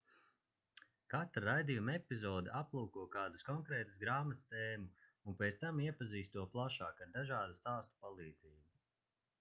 katra raidījuma epizode aplūko kādas konkrētas grāmatas tēmu un pēc tam iepazīst to plašāk ar dažādu stāstu palīdzību